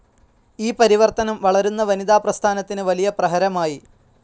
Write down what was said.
ഈ പരിവർത്തനം വളരുന്ന വനിതാ പ്രസ്ഥാനത്തിന് വലിയ പ്രഹരമായി.